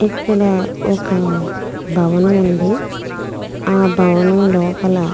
ఇక్కడ ఒక భవనం ఉంది ఆ భవనం లోపల.